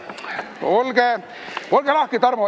Ole lahke, Tarmo!